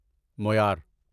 مویار